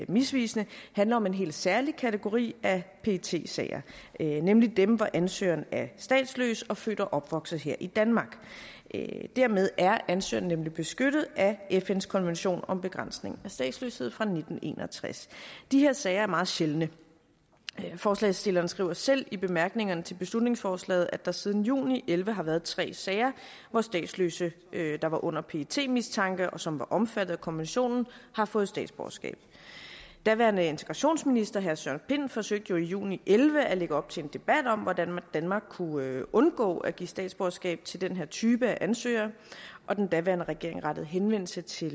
misvisende handler om en helt særlig kategori af pet sager nemlig dem hvor ansøgeren er statsløs og født og opvokset her i danmark dermed er ansøgeren nemlig beskyttet af fns konvention om begrænsning af statsløshed fra nitten en og tres de her sager er meget sjældne forslagsstillerne skriver selv i bemærkningerne til beslutningsforslaget at der siden juni og elleve har været tre sager hvor statsløse der var under pets mistanke og som var omfattet af konventionen har fået statsborgerskab daværende integrationsminister herre søren pind forsøgte jo i juni elleve at lægge op til en debat om hvordan danmark kunne undgå at give statsborgerskab til den her type af ansøgere og den daværende regering rettede henvendelse til